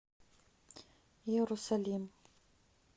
иерусалим